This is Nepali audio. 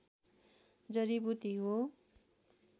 जडीबुटी हो